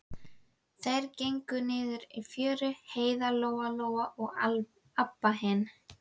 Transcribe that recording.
Þær gengu niður í fjöru, Heiða, Lóa Lóa og Abba hin.